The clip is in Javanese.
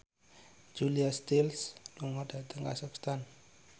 Julia Stiles lunga dhateng kazakhstan